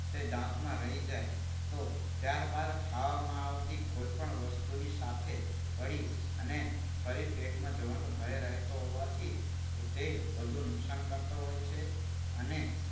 તે દાંતમાં રહી જાય તો ત્યારબાદ ખાવામાં આવતી કોઈપણ વસ્તુની સાથે ભળી અને ફરી પેટમાં જવાનું ભય રહેતો હોવાથી તે વધુ નુકસાન કરતો હોય છે. અને